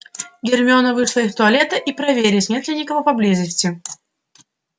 гермиона вышла из туалета и проверить нет ли кого поблизости